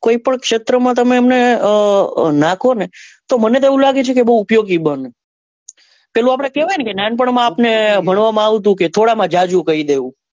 કોઈ પણ ક્ષેત્ર માં તમે એમને નાખો ને તો મને તો એવું લાગે છે કે બઉ ઉપયોગી બને પેલું એવું કેવાય ને આપડે કે નાં નાનપણ માં આપડે ભણવા માં આવતું કે થોડા માં જાજુ કહી દેવું.